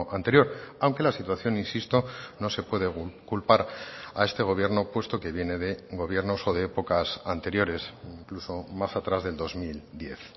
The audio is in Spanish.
anterior aunque la situación insisto no se puede culpar a este gobierno puesto que viene de gobiernos o de épocas anteriores incluso más atrás del dos mil diez